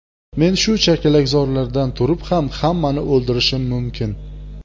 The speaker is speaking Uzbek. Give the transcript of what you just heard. Men shu chakalakzordan turib ham hammani o‘ldirishim mumkin .